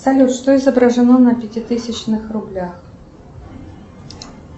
салют что изображено на пятитысячных рублях